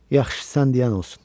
Yaxşı, sən deyən olsun.